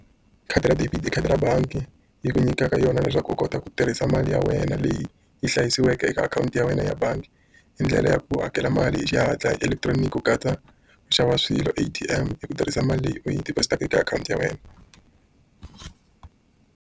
Khadi ra debit i khadi ra bangi yi ku nyikaka yona leswaku u kota ku tirhisa mali ya wena leyi yi hlayisiweke eka akhawunti ya wena ya bangi. Hi ndlela ya ku hakela mali hi xihatla hi electronic ku katsa ku xava swilo A_T_M hi ku tirhisa mali leyi u yi deposit-aka eka akhawunti ya wena.